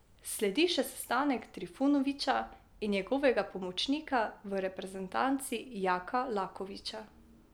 Sledi še sestanek Trifunovića in njegovega pomočnika v reprezentanci Jaka Lakovića.